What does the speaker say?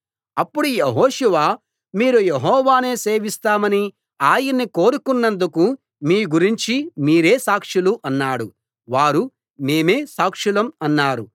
అప్పుడు యెహోషువ మీరు యెహోవానే సేవిస్తామని ఆయన్ని కోరుకున్నందుకు మీ గురించి మీరే సాక్షులు అన్నాడు వారు మేమే సాక్షులం అన్నారు